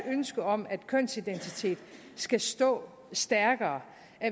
ønske om at kønsidentitet skal stå stærkere